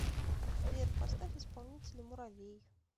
сбер поставь исполнителя муровей